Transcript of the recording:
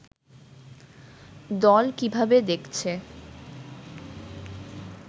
দল কিভাবে দেখছে